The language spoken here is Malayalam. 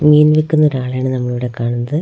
മീൻ വിൽക്കുന്ന ഒരാളെയാണ് നമ്മളിവിടെ കാണുന്നത് ആഹ്--